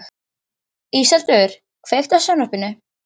Íseldur, kveiktu á sjónvarpinu.